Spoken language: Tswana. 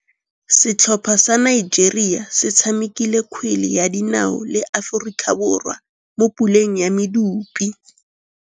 Setlhopha sa Nigeria se tshamekile kgwele ya dinaô le Aforika Borwa mo puleng ya medupe.